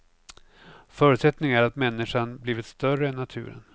Förutsättningen är att människan blivit större än naturen.